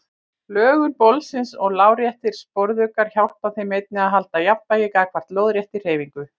Lögun bolsins og láréttir sporðuggar hjálpa þeim einnig að halda jafnvægi gagnvart lóðréttri hreyfingu.